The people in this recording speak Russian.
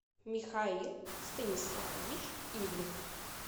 михаил станиславович ивлев